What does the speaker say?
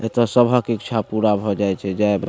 एते सभक इच्छा पूरा भ जाय छै जाय --